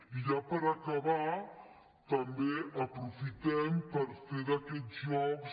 i ja per acabar també aprofitem per fer d’aquests jocs